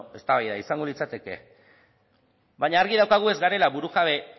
beno eztabaida izango litzateke baina argi daukagu ez garela burujabe